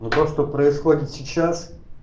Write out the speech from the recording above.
ну то что происходит сейчас